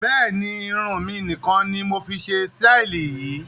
Bẹ́ẹ̀ni, Irun mi nì kan ni mọ fi ṣe síítì yìí